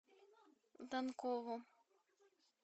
данкову